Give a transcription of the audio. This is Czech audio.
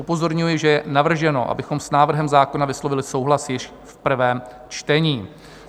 Upozorňuji, že je navrženo, abychom s návrhem zákona vyslovili souhlas již v prvém čtení.